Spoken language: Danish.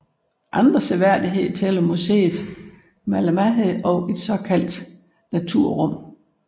Andre seværdigheder tæller Museet Malmahed og et såkaldt naturrum